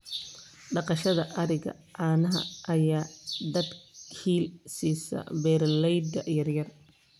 Dhaqashada ariga caanaha ayaa dakhli siisa beeralayda yaryar.